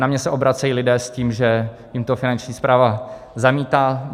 Na mě se obracejí lidé s tím, že jim to Finanční správa zamítá.